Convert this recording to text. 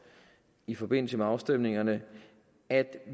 i forbindelse med afstemningerne at